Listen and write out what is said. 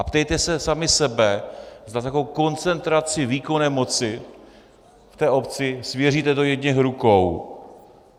A ptejte se sami sebe, zda takovou koncentraci výkonné moci v té obci svěříte do jedněch rukou.